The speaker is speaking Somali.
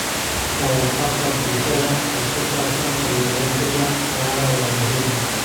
Ka warqabka bulshada ee ku saabsan kalluumeysiga waara waa muhiim.